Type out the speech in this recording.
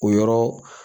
O yɔrɔ